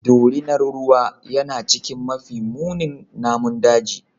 Dorinar ruwa yana cikin mafi munin namun daji.